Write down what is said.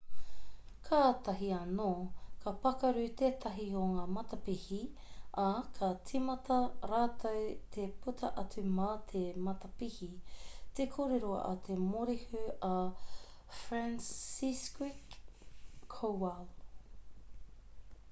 kātahi anō ka pakaru tētahi o ngā matapihi ā kā tīmata rātou te puta atu mā te matapihi te kōrero a te morehu a franciszek kowal